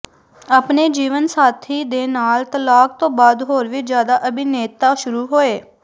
ਆਪਣੇ ਜੀਵਨਸਾਥੀਾਂ ਦੇ ਨਾਲ ਤਲਾਕ ਤੋਂ ਬਾਅਦ ਹੋਰ ਵੀ ਜਿਆਦਾ ਅਭਿਨੇਤਾ ਸ਼ੁਰੂ ਹੋਏ